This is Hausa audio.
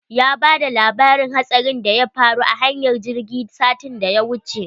Ya bada labarin hatsarin da ya faru a hanyar jirgi satin da ya wuce.